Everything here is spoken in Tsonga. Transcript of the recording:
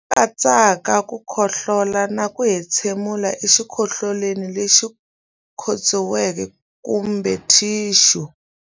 Lama katsaka ku khohlola na ku entshemulela exikokolweni lexi khotsiweke kumbe thixu.